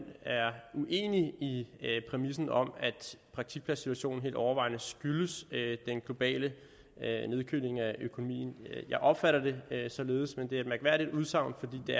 er uenig i præmissen om at praktikpladssituationen helt overvejende skyldes den globale nedkøling af økonomien jeg opfatter det således men det er et mærkværdigt udsagn fordi det